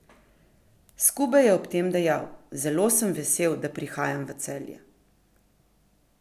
Skube je ob tem dejal: "Zelo sem vesel, da prihajam v Celje.